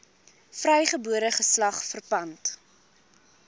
vrygebore geslag verpand